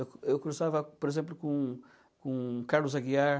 Eu eu cruzava, por exemplo, com com Carlos Aguiar,